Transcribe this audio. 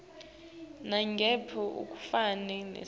nangabe ufake sicelo